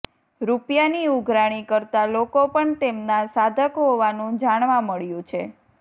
રૂપિયાની ઉઘરાણી કરતા લોકો પણ તેમના સાધક હોવાનું જાણવા મળ્યું છે